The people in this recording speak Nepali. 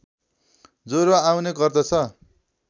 ज्वरो आउने गर्दछ